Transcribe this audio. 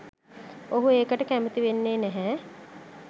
ඔහු ඒකට කැමති වෙන්නේ නැහැ.